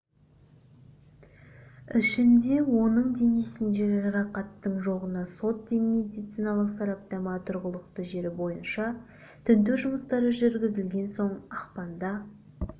ішінде оның денесінде жарақаттың жоғына сот медициналық сараптама тұрғылықты жері бойынша тінту жұмыстары жүргізілген соң ақпанда